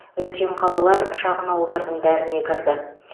үлкен қалалар шағын ауылдардың бәріне кірді